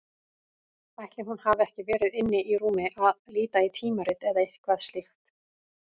Ætli hún hafi ekki verið inni í rúmi að líta í tímarit eða eitthvað slíkt.